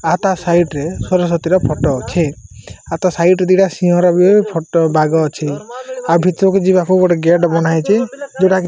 ଆ ତା ସାଇଟ୍ ରେ ସରୋସତି ଫଟୋ ଅଛି ଆଉ ତା ସାଇଟ୍ ରେ ଦିଟା ବି ସିଂହ ର ଫଟୋ ବାଘ ଅଛି ଆଉ ଭିତର କୁ ଯିବାକୁ ଗୋଟେ ଗେଟ୍ ବନା ହେଇଚି ଯୋଉଟାକି --